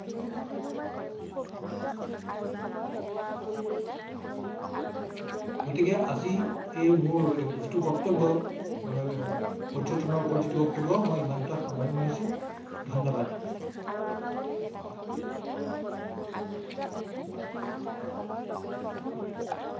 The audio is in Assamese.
গতিকে আজি এই মোৰ যিটো বক্তব্য মানে পৰ্যটনৰ ওপৰত যিটো বত্তব্য মই ইমানতে সামৰণি মাৰিছো ধন্যবাদ ।